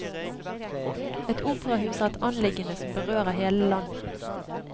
Et operahus er et anliggende som berører hele landet.